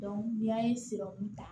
ni y'a ye siran kun ta